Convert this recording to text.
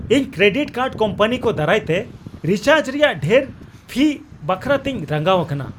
ᱤᱧ credit card company ᱠᱚ ᱫᱟᱨᱟᱭᱛᱮ ᱨᱤᱪᱟᱨᱡᱽ ᱨᱮᱭᱟᱜ ᱰᱷᱮᱨ ᱯᱷᱤ ᱵᱟᱠᱷᱨᱟ ᱛᱤᱧ ᱨᱟᱸᱜᱟᱣ ᱟᱠᱟᱱᱟ ᱾